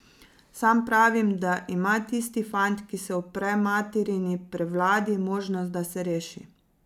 Sam pravim, da ima tisti fant, ki se upre materini prevladi, možnost, da se reši.